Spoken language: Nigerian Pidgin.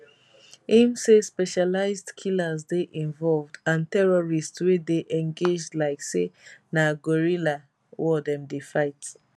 im say specialised killers dey involved and terrorists wey dey engage like say na guerrilla war dem dey fight